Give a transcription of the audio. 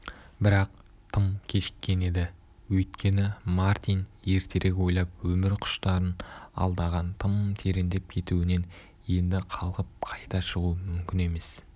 бірақ тым кешіккен еді өйткені мартин ертерек ойлап өмір құштарын алдаған тым тереңдеп кетуінен енді қалқып қайта шығу мүмкін емес